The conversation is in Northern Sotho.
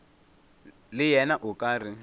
le yena o ka re